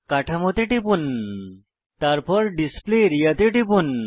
কাঠামোতে টিপুন তারপর ডিসপ্লে আরিয়া তে টিপুন